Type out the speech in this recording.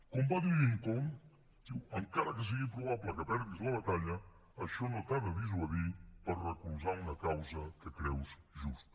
com va dir lincoln diu encara que sigui probable que perdis la batalla això no t’ha de dissuadir per recolzar una causa que creus justa